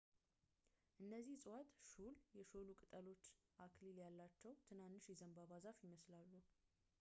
እነዚህ ዕፅዋት ሹል ፣ የሾሉ ቅጠሎች፣ አክሊል ያላቸው ትናንሽ የዘንባባ ዛፍ ይመስላሉ